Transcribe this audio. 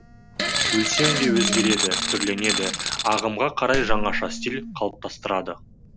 өлең де өзгереді түрленеді ағымға қарай жаңаша стиль қалыптастырады